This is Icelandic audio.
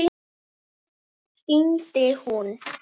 Oft hringdi hún.